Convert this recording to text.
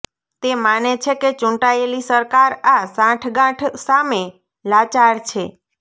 તે માને છે કે ચૂંટાયેલી સરકાર આ સાંઠગાંઠ સામે લાચાર છે